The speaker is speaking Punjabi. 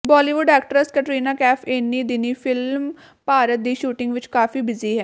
ਬਾਲੀਵੁੱਡ ਐਕਟਰੈੱਸ ਕੈਟਰੀਨਾ ਕੈਫ ਏਨੀਂ ਦਿਨੀਂ ਫਿਲਮ ਭਾਰਤ ਦੀ ਸ਼ੂਟਿੰਗ ਵਿੱਚ ਕਾਫੀ ਬਿਜ਼ੀ ਹੈ